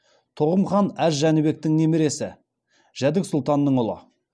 тоғым хан әз жәнібектің немересі жәдік сұлтанның ұлы